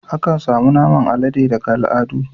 Akan samu naman alade daga al'adu.